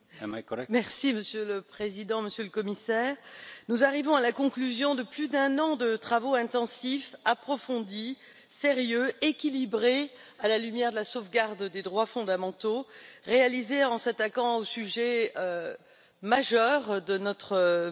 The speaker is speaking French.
Monsieur le Président, Monsieur le Commissaire, nous arrivons à la conclusion de plus d'un an de travaux intensifs, approfondis, sérieux, équilibrés à la lumière de la sauvegarde des droits fondamentaux, réalisés en s'attaquant au sujet majeur de notre époque,